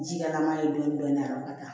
Ji kɛlama ye dɔɔni dɔɔni a ka kan